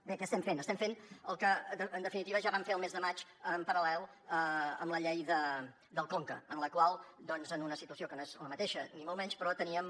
bé què estem fent estem fent el que en definitiva ja vam fer al mes de maig en paral·lel amb la llei del conca en la qual doncs en una situació que no és la mateixa ni molt menys però teníem